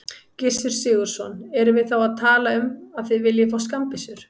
Gissur Sigurðsson: Erum við þá að tala um að þið viljið fá skammbyssur?